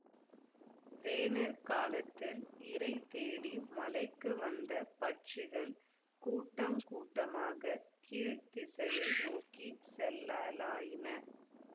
வேனிற் காலத்தில் இரை தேடி மலைக்கு வந்த பட்சிகள் கூட்டங் கூட்டமாகக் கீழ்த் திசையை நோக்கி செல்லலாயின